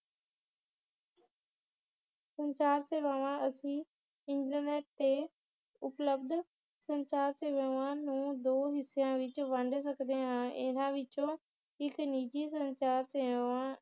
ਸੰਚਾਰ ਸੇਵਾਵਾਂ ਅਸੀ ਇਨਟਰਨੈਟ ਤੇ ਉਪਲਬਧ ਸੰਚਾਰ ਸੇਵਾਵਾਂ ਨੂੰ ਦੋ ਹਿੱਸਿਆਂ ਵਿਚ ਵੰਡ ਸਕਦੇ ਹਾਂ ਇਹਨਾਂ ਵਿਚੋਂ ਇਕ ਨਿਜੀ ਸੰਚਾਰ ਸੇਵਾ